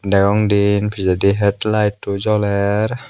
deong diyen pejedi head lighto joler.